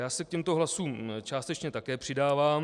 Já se k těmto hlasům částečně také přidávám.